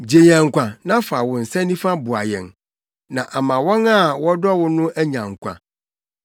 Gye yɛn nkwa na fa wo nsa nifa boa yɛn, na ama wɔn a wodɔ wɔn no anya nkwa.